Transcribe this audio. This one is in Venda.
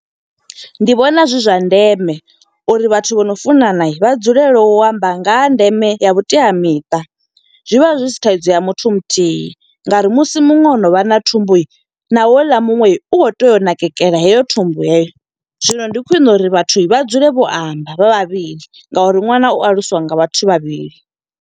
Ndi vhona zwi zwa ndeme uri vhathu vhano funana vha dzulele u amba nga ha ndeme ya vhuteamiṱa. Zwivha zwi si thaidzo ya muthu muthihi nga uri musi muṅwe o no no vha na thumbu, na houḽa muṅwe u khou tea u nakekela heyo thumbu yeyo. Zwino ndi khwiṋe uri vhathu vha dzule vho amba vha vhavhili nga uri ṅwana u aluswa nga vhathu vhavhili.